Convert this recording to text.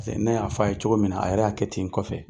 ne y'a fɔ a ye cogo min na a yɛrɛ y'a kɛ ten n kɔfɛ